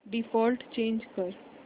default change कर